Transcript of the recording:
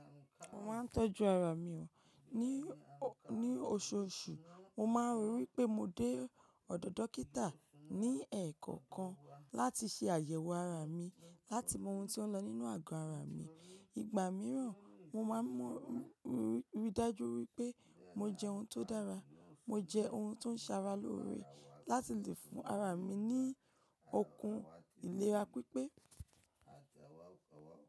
Mo máa ń tọ́jú ara mi, ní oṣooṣù mo máa ń rí wipé mo dé ọ̀dọ̀ dókítà ní ẹ̀ẹ̀kọ̀okan láti ṣe àyẹ̀wò ara mi láti mọ ohun tó ń lọ nínú àgọ́ ara mi. Ìgbà mìíràn mo máa ń mọ ridaju wípé mo jẹ ohun tó dára, mo jẹ ohun tó ń ṣara lóore láti lè fún ara mi ní okun ìlera pípé.